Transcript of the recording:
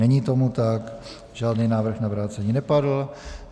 Není tomu tak, žádný návrh na vrácení nepadl.